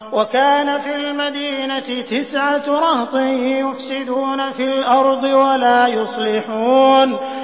وَكَانَ فِي الْمَدِينَةِ تِسْعَةُ رَهْطٍ يُفْسِدُونَ فِي الْأَرْضِ وَلَا يُصْلِحُونَ